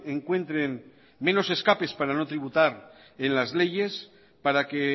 encuentren menos escapes para no tributar en las leyes para que